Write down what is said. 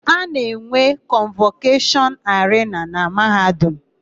A na-enwe kọnvọkeshọn arena na Mahadum